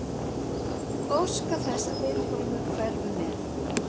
Óska þess að Vilhjálmur hverfi með.